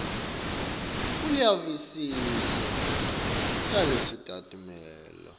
uyavisisa tinchukaca talesimemetelo